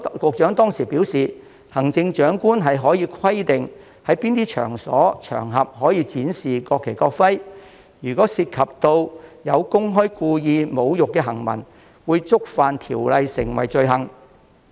局長當時表示，行政長官可規定在哪些場所、場合展示國旗、國徽，如有涉及公開故意侮辱的行文，即屬觸犯條文規定的罪行。